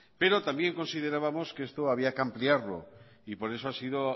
pero también considerábamos que esto había que ampliarlo por eso